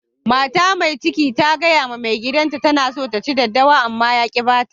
Mata Mai cikin ta gaya ma maigidan ta tana son ta ci daddawa, ama ya ki ba ta